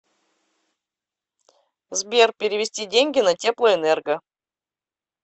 сбер перевести деньги на теплоэнерго